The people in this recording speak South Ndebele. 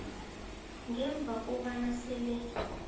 ngemva kobana sele